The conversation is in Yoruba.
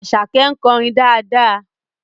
Àṣàkẹ́ ń kọrin dáadáa